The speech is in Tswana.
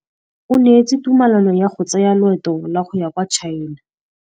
O neetswe tumalanô ya go tsaya loetô la go ya kwa China.